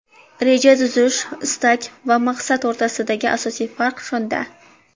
Reja tuzish istak va maqsad o‘rtasidagi asosiy farq shunda.